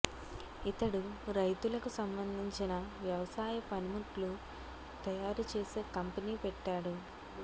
ఇతడు రైతులకు సంబంధించిన వ్యవసాయ పని ముట్లు తయారు చేసే కంపెనీ పెట్టాడు